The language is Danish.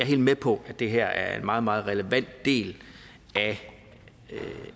helt med på at det her er en meget meget relevant del af det